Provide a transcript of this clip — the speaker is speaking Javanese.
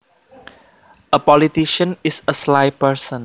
A politician is a sly person